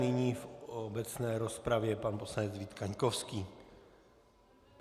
Nyní v obecné rozpravě pan poslanec Vít Kaňkovský.